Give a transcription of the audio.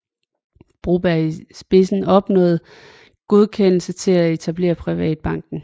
Broberg i spidsen opnåede godkendelse til at etablere Privatbanken